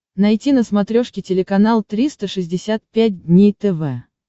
найти на смотрешке телеканал триста шестьдесят пять дней тв